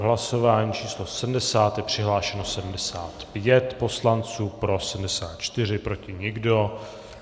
V hlasování číslo 70 je přihlášeno 75 poslanců, pro 74, proti nikdo.